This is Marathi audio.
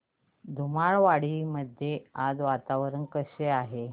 धुमाळवाडी मध्ये आज वातावरण कसे आहे